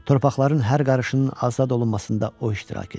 Torpaqların hər qarışının azad olunmasında o iştirak edir.